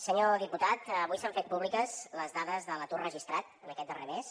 senyor diputat avui s’han fet públiques les dades de l’atur registrat en aquest darrer mes